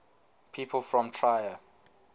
people from trier